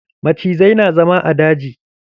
Macizai na zama a daji.